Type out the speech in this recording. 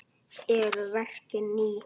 Eru verkin ný?